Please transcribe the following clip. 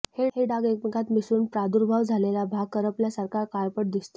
हे डाग एकमेकांत मिसळून प्रादुर्भाव झालेला भाग करपल्यासारखा काळपट दिसतो